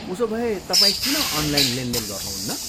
उसोभए, तपाईँ किन अनलाइन लेनदेन गर्नुहुन्न?